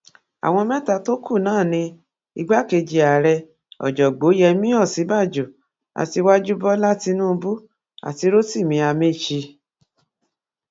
àwọn mẹta tó kù náà ni igbákejì ààrẹ ọjọ̀gbọ́n yẹmí ọ̀sínbàjò aṣíwájú bọ́lá tínúbù àti rotimi amaechi